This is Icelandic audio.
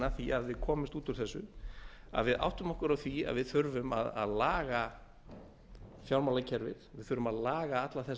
að því að við komumst út úr þessu að við áttum okkur á því að við þurfum að laga fjármálakerfið við þurfum að laga alla þessa